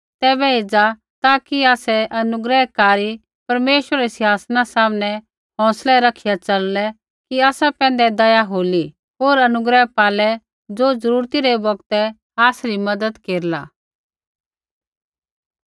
तैबै एज़ा ताकि आसै अनुग्रहकारी परमेश्वरा रै सिंहासना सामनै हौंसलै रखिया च़ललै कि आसा पैंधै दया होली होर अनुग्रह पालै ज़ो ज़रूरती रै बौगतै आसरी मज़त केरला